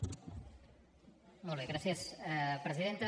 molt bé gràcies presidenta